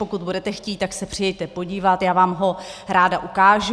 Pokud budete chtít, tak se přijeďte podívat, já vám ho ráda ukážu.